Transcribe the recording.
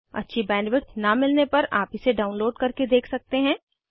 अच्छी बैंडविड्थ न मिलने पर आप इसे डाउनलोड करके देख सकते हैं